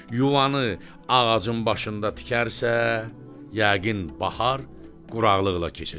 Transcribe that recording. Yuvanı ağacın başında tikərsə, yəqin bahar quraqlıqla keçəcəkdir.